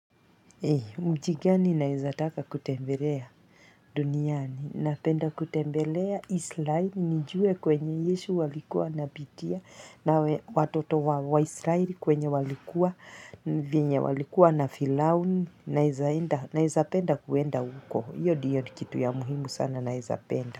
Mji gani naezataka kutembelea duniani na penda kutembelea israeli nijue kwenye yesu alikuwa anapitia na watoto wa israeli kwenye walikuwa walikuwa na filauni naeza penda kuenda huko hiyo ndiyo ni kitu ya muhimu sana naeza penda.